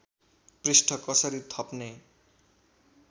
पृष्ठ कसरी थप्ने